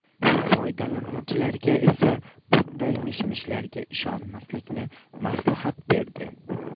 Foydalanuvchilarga esa bunday mishmishlarga ishonmaslikni maslahat berdi.